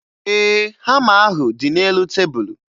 Ee, hama ahụ dị n'elu tebulu